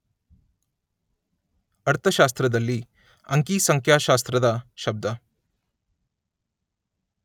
ಅರ್ಥಶಾಸ್ತ್ರದಲ್ಲಿ 'ಅಂಕಿ ಸಂಖ್ಯಾಶಾಸ್ತ್ರ ' ದ ಶಬ್ದ.